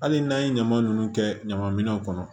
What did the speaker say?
Hali n'an ye ɲama nunnu kɛ ɲaman minɛnw kɔnɔ